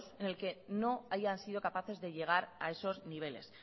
en el que no hayan sido capaces de llegar a esos niveles